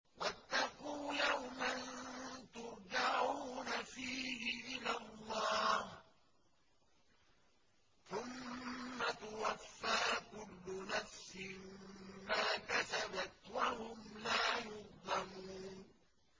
وَاتَّقُوا يَوْمًا تُرْجَعُونَ فِيهِ إِلَى اللَّهِ ۖ ثُمَّ تُوَفَّىٰ كُلُّ نَفْسٍ مَّا كَسَبَتْ وَهُمْ لَا يُظْلَمُونَ